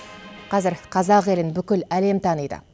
қазір қазақ елін бүкіл әлем таниды